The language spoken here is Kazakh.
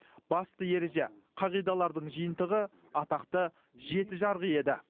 басты ереже қағидалардың жиынтығы атақты жеті жарғы еді